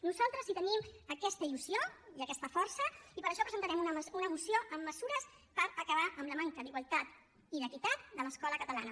nosaltres sí que tenim aquesta il·lusió i aquesta força i per això presentarem una moció amb mesures per acabar amb la manca d’igualtat i d’equitat de l’escola catalana